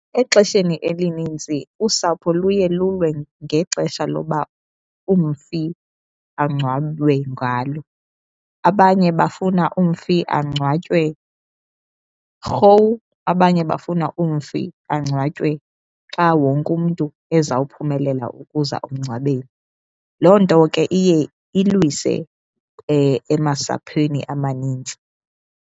Exesheni elinintsi usapho luye lulwe ngexesha loba umfi angcwatywe ngalo. Abanye bafuna umfi angcwatywe gou, abanye bafuna umfi angcwatywe xa wonke umntu ezawuphumelela ukuza emngcwabeni. Loo nto ke iye ilwise emasaphweni amaninzi.